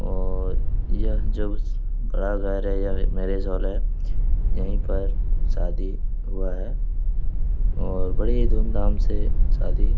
और यह जो में मैरिज हॉल है। यही पर शादी हुआ है। और बड़ी ही धूम-धाम से शादी --